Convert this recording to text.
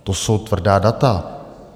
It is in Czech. To jsou tvrdá data.